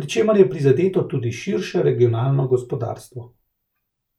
pri čemer je prizadeto tudi širše regionalno gospodarstvo.